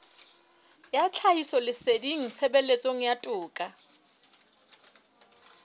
ya tlhahisoleseding tshebetsong ya toka